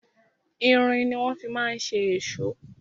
Irin ni wọ́n fi ma ń ṣe èṣó.